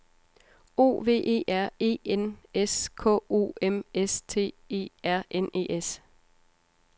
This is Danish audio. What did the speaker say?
O V E R E N S K O M S T E R N E S